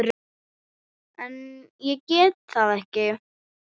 En ég gerði það ekki.